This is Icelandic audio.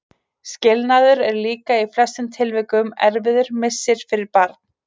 Skilnaður er líka í flestum tilvikum erfiður missir fyrir barn.